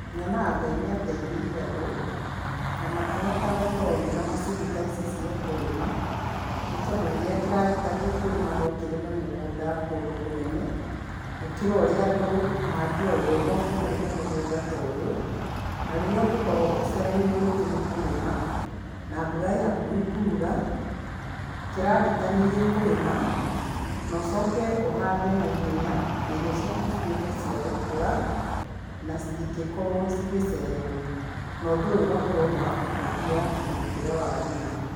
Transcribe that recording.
Nyonaga Ngai nĩ ateithirie andũ, na makĩhota gũkorwo mena macini ta ici cia kũrĩma, nĩ tondũ rĩrĩa kĩragita gĩkũrima no kĩrĩme mũgũnda kũndũ kũnene gũkĩra ũrĩa andũ mangĩoyũo moke marĩme mũgũnda ta ũyũ, na rĩrĩa ungĩkorwo ũcereirwo rĩngĩ nĩ kũrĩma na mbura ĩ hakuhĩ kuura, kĩragita nĩ gĩkũrĩma na ũcoke ũhande naihenya, na irio ciaku cituĩke cia gũkũra na citingĩkorwo cigĩcererwo, na ũndũ ũyũ ũgakorwo nĩ wa kũhũthia mũrutĩre wa wĩra.